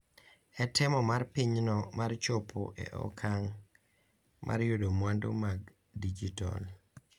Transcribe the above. E temo mar pinyno mar chopo e okang’ mar yudo mwandu mag dijitol,